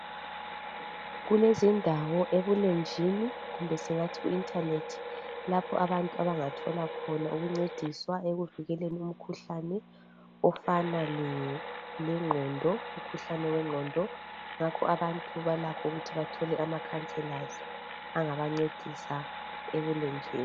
Kulezindawo ebulenjini kumbe singathi kuinternert lapho abantu abangathola khona ukuncediswa ekuvikeleni imikhuhlane ofana lengqondo umkhuhlane wengqondo ngakho abantu balakho ukuthi bathole amacounsellors angabancedisa ebulenjini.